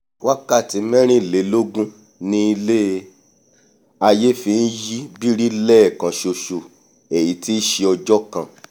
wákàtí mẹ́rìnlélógún ni ilé-aiyé fi nyí biri lẹ́ẹ̀kan ṣoṣo èyí tí nṣe ọjọ́ kan